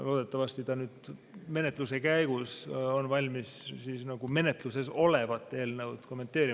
Loodetavasti ta nüüd menetluse ajal on valmis menetluses olevat eelnõu kommenteerima.